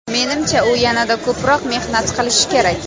Menimcha, u yanada ko‘proq mehnat qilishi kerak.